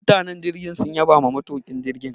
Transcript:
Mutanen jirgin sun yabama matuƙin jirgin.